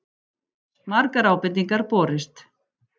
Margar ábendingar borist